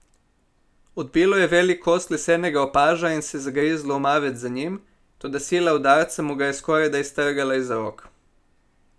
Odbilo je velik kos lesenega opaža in se zagrizlo v mavec za njim, toda sila udarca mu ga je skorajda iztrgala iz rok.